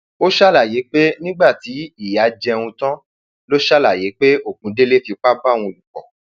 ó ṣàlàyé pé ṣàlàyé pé nígbà tí ìyá jẹun tán ló ṣàlàyé pé ogundẹlè fipá bá òun lò pọ